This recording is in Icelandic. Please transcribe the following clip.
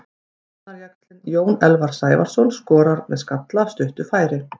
Varnarjaxlinn Jens Elvar Sævarsson skorar með skalla af stuttu færi.